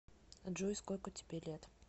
джой сколько тебе лет